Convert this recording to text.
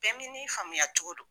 Bɛɛ mi ni faamuya cogo don